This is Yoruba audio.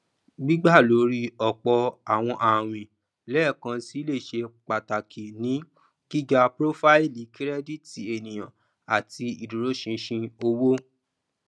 gbígbà lórí ọpọ àwọn àwìn lẹẹkansi lè ṣe pàtàkì ní gíga profaili kirẹdìtì ènìyàn àti ìdúróṣinṣin owó